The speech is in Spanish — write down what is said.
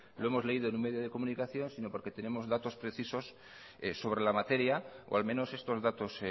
lo hemos leído en un medio de comunicación sino porque tenemos datos precisos sobre la materia o al menos estos datos